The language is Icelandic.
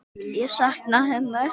Ég sakna hennar.